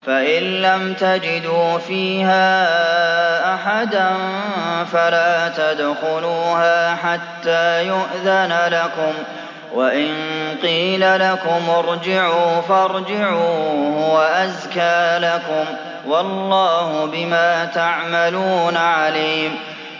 فَإِن لَّمْ تَجِدُوا فِيهَا أَحَدًا فَلَا تَدْخُلُوهَا حَتَّىٰ يُؤْذَنَ لَكُمْ ۖ وَإِن قِيلَ لَكُمُ ارْجِعُوا فَارْجِعُوا ۖ هُوَ أَزْكَىٰ لَكُمْ ۚ وَاللَّهُ بِمَا تَعْمَلُونَ عَلِيمٌ